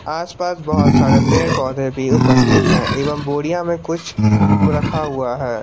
आस पास बहोत सारे पेड़ पौधे भी उपस्थित हैं एवं बोरियां में कुछ रखा हुआ है।